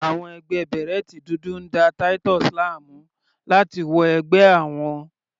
Àwọn ẹgbẹ́ bèrẹ́tì dúdú ń da Titus láàmú láti wọ ẹgbẹ́ àwọn.